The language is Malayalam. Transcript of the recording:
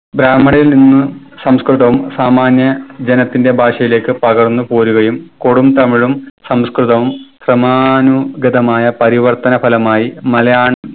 ബ്രഹ്മിണരിൽ നിന്ന് സംസ്‌കൃതവും സാമാന്യ ജനത്തിന്റെ ഭാഷയിലേക്ക് പകർന്ന് പോരുകയും കൊടുംതമിഴും സംസ്‌കൃതവും സമാനുഗതമായ പരിവർത്തന ഫലമായി മലയാൻ